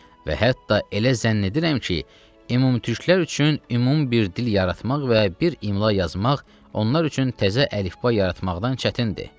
Və hətta elə zənn edirəm ki, ümumtürklər üçün ümumi bir dil yaratmaq və bir imla yazmaq, onlar üçün təzə əlifba yaratmaqdan çətindir.